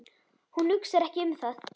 Hún hugsar ekki um það.